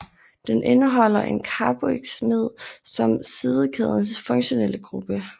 Den indeholder en carboxamid som sidekædens funktionelle gruppe